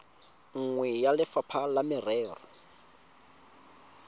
nngwe ya lefapha la merero